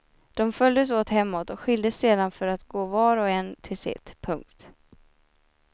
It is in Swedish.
De följdes åt hemåt och skildes sedan för att gå var och en till sitt. punkt